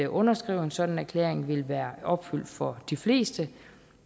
underskrive en sådan erklæring vil være opfyldt for de fleste